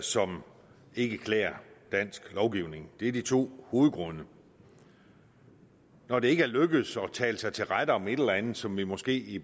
som ikke klæder dansk lovgivning det er de to hovedgrunde når det ikke er lykkedes at tale sig til rette om et eller andet som vi måske i